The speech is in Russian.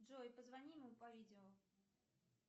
джой позвони ему по видео